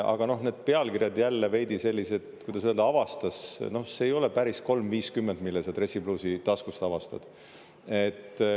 Aga need pealkirjad on jälle veidi sellised, kuidas öelda … "Avastas" – noh, see ei ole päris 3.50, mille sa dressipluusi taskust avastad.